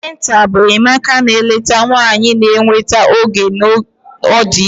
Antịnantal bụ enyemaka na nleta nwanyị na-enweta oge ọ dị ime.